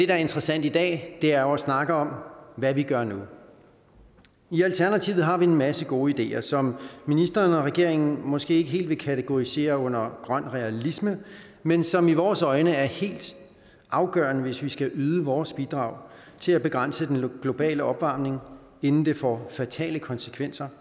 er interessant i dag er jo at snakke om hvad vi gør nu i alternativet har vi en masse gode ideer som ministeren og regeringen måske ikke helt vil kategorisere under grøn realisme men som i vores øjne er helt afgørende hvis vi skal yde vores bidrag til at begrænse den globale opvarmning inden det får fatale konsekvenser